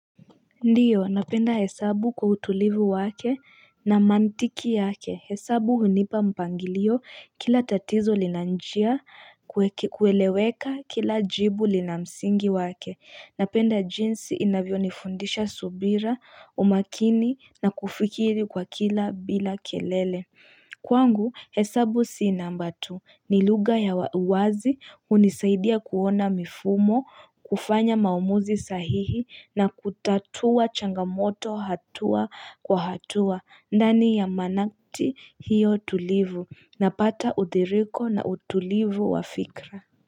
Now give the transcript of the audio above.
Ndiyo, napenda hesabu kwa utulivu wake, na mantiki yake, hesabu hunipa mpangilio kila tatizo lina njia kueleweka kila jibu lina msingi wake, napenda jinsi inavyo nifundisha subira, umakini na kufikiri kwa kila bila kelele Kwangu, hesabu si namba tu ni lugha ya wazi hunisaidia kuona mifumo, kufanya maamuzi sahihi na kutatua changamoto hatua kwa hatua ndani ya manakti hiyo tulivu na pata utiriko na utulivu wafikra.